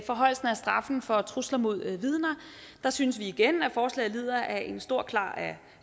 straffen for trusler mod vidner synes vi igen at forslaget lider af en stor grad af